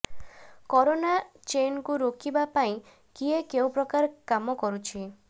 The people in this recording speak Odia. କୋରୋନା ଚେନକୁ ରୋକିବା ପାଇଁ କିଏ କେଉଁ ପ୍ରକାର କାମ କରୁଛି